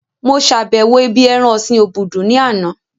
Mo sàbẹ̀wo ibí ẹran ọ̀sin obudu ní àná